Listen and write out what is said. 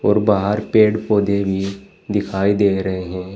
और बाहर पेड़ पौधे भी दिखाई दे रहे हैं।